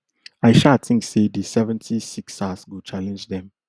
i sha tink say di seventy-sixers go challenge dem